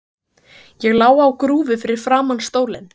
Ég lá á grúfu fyrir framan stólinn.